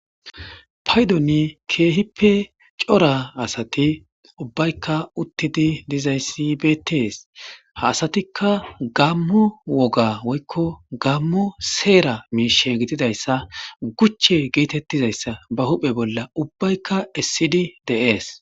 paydoni keehippe cora asati ubbaykka uttidi dizayssi betees ha asatikka gammo woga woykko gammo seera miishe gididayssa guche geetettizayssa ba huphe bolla ubbaykka essidi deees